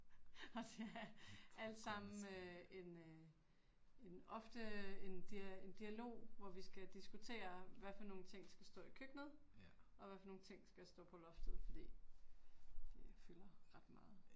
Og det er alt sammen øh en øh en ofte en en dialog hvor vi skal diskutere hvad for nogle ting skal stå i køkkenet og hvad for nogle ting skal stå på loftet, fordi det fylder ret meget